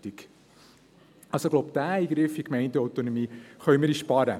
Ich glaube, diesen Eingriff in die Gemeindeautonomie können wir uns sparen.